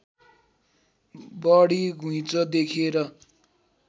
बढी घुँइचो देखेर